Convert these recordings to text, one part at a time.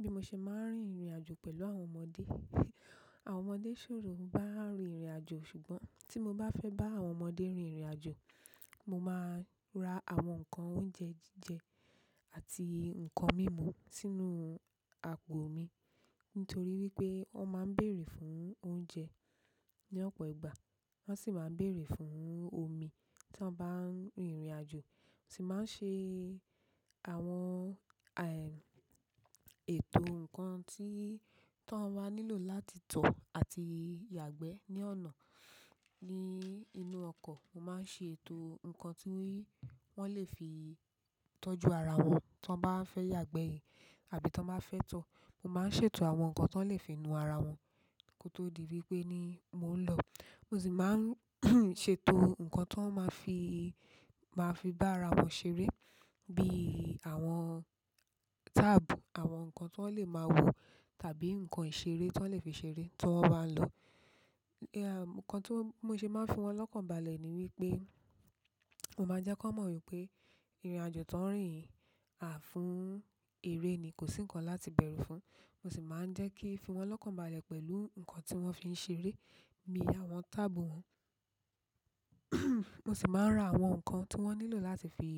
Bi mo ṣe máa ń rin ìrìnàjò pẹ̀lú àwọn ọmọdé, àwọn ọmọdé ṣòro bá a rin ìrìnàjò ṣùgbọ́n tí mo bá fẹ́ bá àwọn ọmọdé rin ìrìnàjò, mo máa ra àwọn nǹkan oúnjẹ jíjẹ àti nǹkan mímu sínú àpò mi nítorí wípé wọn máa ń bèèrè fún oúnjẹ ní ọ̀pọ̀ ìgbà wọ́n sì máa ń bèèrè fún omi tí wọ́n bá ń rin ìrìnàjò. Ti ma n se àwọn, eeh, ètò nǹkan tí, tí wọ́n wá nílò láti tọ̀ àti yàgbẹ́ ní ọ̀nà, ní inú ọkọ̀. Mo máa ń ṣe ètò nǹkan tí wọ́n lè fi tọ́jú ara wọn tí wọ́n bá fẹ́ yàgbẹ́ àbí tí wọ́n bá fẹ́ tọ̀. Mo máa ń ṣètò àwọn nǹkan tí wọ́n lè fi nu ara wọn kó tó di wípé ni mò ń lọ. Mo sì máa ń ṣètò nǹkan tí wọ́n máa fi, máa fi bá ara wọn ṣeré bí i àwọn táàbù, àwọn nǹkan tí wọ́n lè máa wò tàbí nǹkan ìṣeré tí wọ́n lè fi ṣeré tí wọ́n bá lọ. Nǹkan tí mo ṣe máa ń fi wọ́n lọ́kànbalẹ̀ ni wípé mo máa ń jẹ́ kí wọ́n mọ̀ wípé ìrìnàjò tó ń rìn à fún eré ni kò sí nǹkan láti bẹ̀rù fún. Mo sì máa ń jẹ́ kí fi wọ́n lọ́kànbalẹ̀ pẹ̀lú nǹkan tí wọ́n fi ń ṣeré bí i àwọn tábù wọ́n. Mo sì máa ń ra àwọn nǹkan tí wọ́n nílò láti fi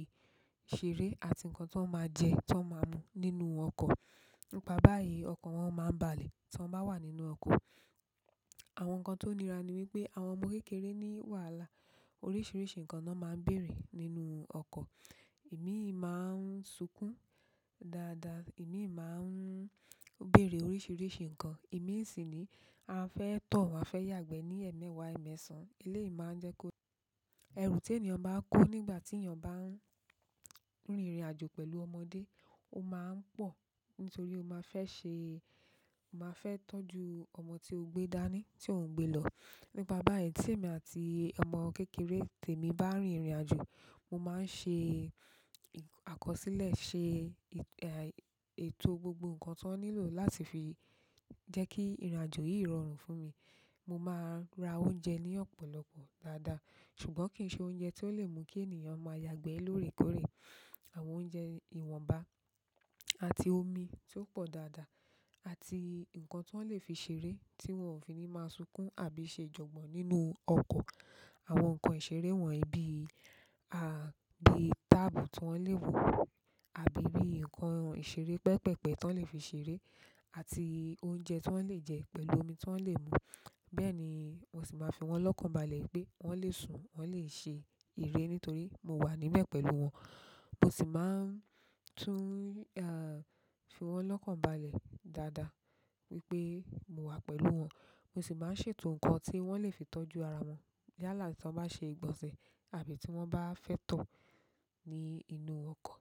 ṣeré àti nǹkan tí wọ́n máa jẹ, tí wọ́n máa mu nínú ọkọ̀. Nípa báyìí ọkàn wọn máa ń balẹ̀ tí wọ́n bá wà nínú ọkọ̀. Àwọn nǹkan tó nira ni wípé àwọn ọmọ kékeré ní wàhálà oríṣiríṣi nǹkan ni wọn máa ń bèèrè nínú ọkọ̀. Ẹ̀mí ì máa ń sunkún dáadáa, ẹ̀mí ì máa ń béèrè oríṣiríṣi nǹkan, ẹ̀mí ì sì ni a fẹ́ tọ̀, a fẹ́ yàgbẹ́ ní ẹ̀ẹ̀mẹwa, ẹ̀ẹ̀mẹsan. Ilé ì máa ń jẹ́ kó. Ẹrù tí ènìyàn bá kó nígbà tí ènìyàn bá ń rin ìrìnàjò pẹ̀lú ọmọdé ó máa ń pọ̀ nítorí ó máa fẹ́ ṣe, ó máa fẹ́ tọ́jú ọmọ tí ó gbé dání, tí òun gbé lọ. Nípa báyìí tí èmi àti ọmọ kékeré tèmi bá rin ìrìnàjò, mo máa ń ṣe àkọsílẹ̀, ṣe, eh, ètò gbogbo nǹkan tí wọ́n nílò láti fi jẹ́ kí ìrìnàjò yìí rọrùn fún mi. Mo máa ra oúnjẹ ní ọ̀pọ̀lọpọ̀ dáadáa ṣùgbọ́n kì í ṣe oúnjẹ tí ó lè mú kí ènìyàn máa yàgbẹ́ lórèkórè. Àwọn oúnjẹ ìwọ̀nba àti omi tí ó pọ̀ dáadáa àti nǹkan tí wọ́n lè fi ṣeré tí wọn ò fi ní máa sunkún àbí ṣe jọ̀gbọ́n nínú ọkọ̀. Àwọn nǹkan ìṣeré wọ̀nyí bí i, à bí tábù tí wọ́n lè wò àbí bí i nǹkan ìṣeré pẹpẹpẹ tí wọ́n lè fi ṣeré àti oúnjẹ tí wọ́n lè jẹ pẹ̀lú omi tí wọ́n lè mu. Bẹ́ẹ̀ ni mo sì máa ń fi wọ́n lọ́kànbalẹ̀ wípé wọ́n lè sùn, wọ́n lè ṣe ìere nítorí mo wà níbẹ̀ pẹ̀lú wọn. Mo sì máa ń tún, ah, fi wọ́n lọ́kànbalẹ̀ dáadáa wípé mo wà pẹ̀lú wọn. Mo sì máa ń ṣètò nǹkan tí wọ́n lè fi tọ́jú ara wọn yálà tí wọ́n bá ṣe ìgbọ̀nsẹ̀ àbí tí wọ́n bá fẹ́ tọ̀ ní inú ọkọ̀.